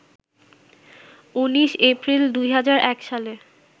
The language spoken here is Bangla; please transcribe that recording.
১৯ এপ্রিল ২০০১ সালে